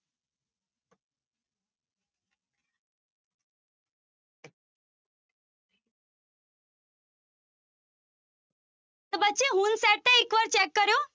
ਤਾਂ ਬੱਚੇ ਹੁਣ set ਹੈ ਇੱਕ ਵਾਰ check ਕਰਿਓ।